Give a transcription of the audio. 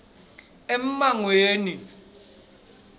emangweni